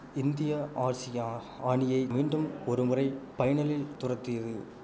India Arshia ஆணியை மீண்டும் ஒருமுறை பைனலில் துரத்தியது